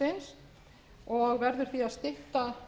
virðist ekki vera fært um það